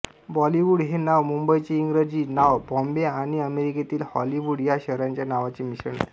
Bollywood हे नाव मुंबईचे इंग्रजी नाव बॉम्बे आणि अमेरिकेतील हॉलिवूड या शहराच्या नावांचे मिश्रण आहे